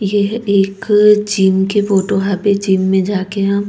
ये एक जिम के फोटो हवे जिम में जाके हम --